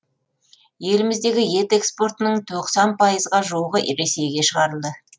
еліміздегі ет экспортының тоқсан пайызға жуығы ресейге шығарылды